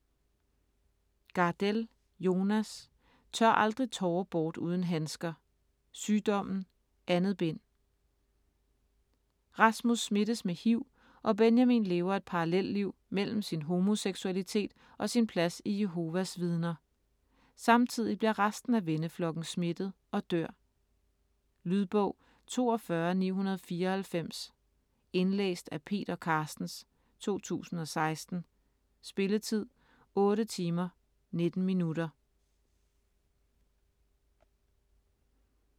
Gardell, Jonas: Tør aldrig tårer bort uden handsker: Sygdommen: 2. bind Rasmus smittes med hiv og Benjamin lever et parallelliv mellem sin homoseksualitet og sin plads i Jehovas Vidner. Samtidig bliver resten af venneflokken smittet og dør. Lydbog 42994 Indlæst af Peter Carstens, 2016. Spilletid: 8 timer, 19 minutter.